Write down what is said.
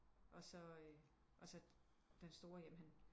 Og så og så den store jamen han